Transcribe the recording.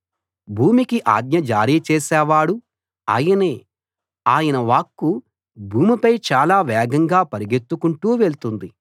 భూమికి ఆజ్ఞ జారీ చేసేవాడు ఆయనే ఆయన వాక్కు భూమిపై చాలా వేగంగా పరుగెత్తుకుంటూ వెళ్తుంది